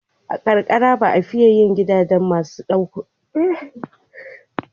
A karkara ba a fiye yin gidaje masu ɗukuna biyu ba.